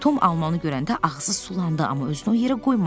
Tom almanı görəndə ağzı sulandı, amma özünü o yerə qoymadı.